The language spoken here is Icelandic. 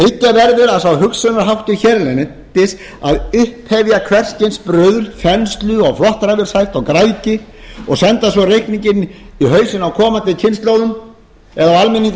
verður að sá hugsunarháttur hérlendis að upphefja hvers kyns bruðl þenslu flottræfilshátt og græðgi og senda svo reikninginn í hausinn á komandi kynslóðum eða almenningi í